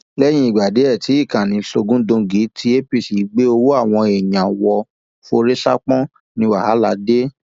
lẹyìn ìgbà díẹ tí ìkànnì sógundóńgí tí apc gbé ọwọ àwọn èèyàn wọ forí ṣánpọn ní wàhálà dé